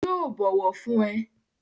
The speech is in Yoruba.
Yóò bọ̀wọ̀ fún ẹ